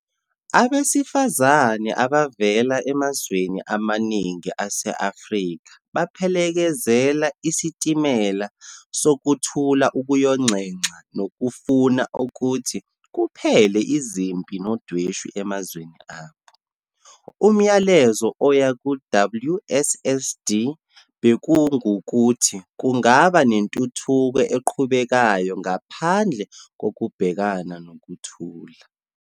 Abesifazane abavela emazweni amaningana ase-Afrika baphelekezela iSitimela Sokuthula ukuyonxenxa nokufuna ukuthi kuphele izimpi nodweshu emazweni abo. Umlayezo oya ku-WSSD bekungukuthi kungaba nentuthuko eqhubekayo ngaphandle kokubhekana nokuthula.